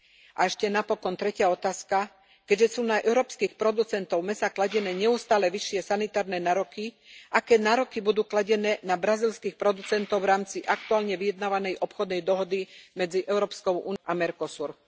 A ešte napokon tretia otázka. Keďže sú na európskych producentov mäsa kladené neustále vyššie sanitárne nároky, aké nároky budú kladené na brazílskych producentov v rámci aktuálne vyjednávanej obchodnej dohody medzi EÚ a Mercosurom?